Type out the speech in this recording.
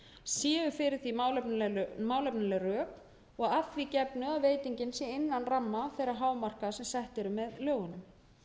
séu fyrir því málefnaleg rök og að því gefnu að veitingin sé innan ramma þeirra hámarka sem sett eru með lögunum